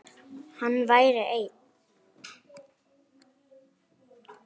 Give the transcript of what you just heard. Hann væri einn.